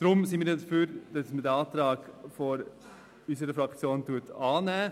Deshalb sind wir dafür, dass man den Antrag unserer Fraktion annimmt.